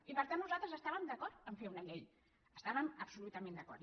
i per tant nosaltres estàvem d’acord a fer una llei hi estàvem absolutament d’acord